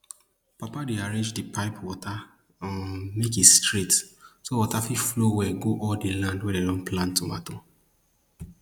papa dey arrange di pipe water um make e straight so water fit flow well go all di land wey dem plant tomato